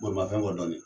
Bolimafɛn kɔ dɔɔnin